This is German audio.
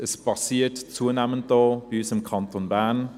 Es passiert zunehmend auch bei uns im Kanton Bern.